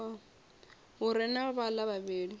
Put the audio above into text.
hu re na vhaḽa vhavhili